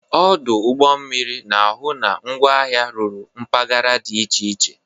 Ọdụ ụgbọ mmiri na-ahụ na ngwaahịa ruru mpaghara dị iche iche.